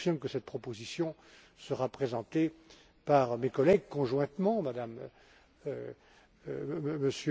Je confirme que cette proposition sera présentée par mes collègues conjointement, par M.